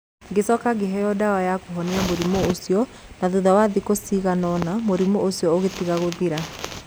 Ngĩcoka ngĩheo ndawa ya kũhonia mũrimũ ũcio, na thutha wa thikũ cigana ũna mũrimũ ũcio ũkĩtiga gũthira.